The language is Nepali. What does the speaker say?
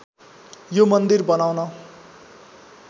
यो मन्दिर बनाउन